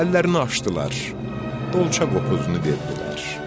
Əllərini açdılar, qolça qopuzunu verdilər.